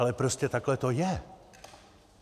Ale prostě takhle to je.